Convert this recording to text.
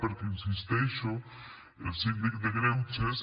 perquè hi insisteixo el síndic de greuges